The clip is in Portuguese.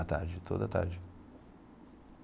A tarde, toda a tarde.